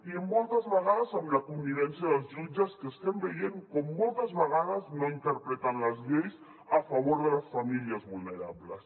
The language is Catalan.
i moltes vegades amb la connivència dels jutges que estem veient com moltes vegades no interpreten les lleis a favor de les famílies vulnerables